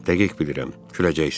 Dəqiq bilirəm, güləcəksən.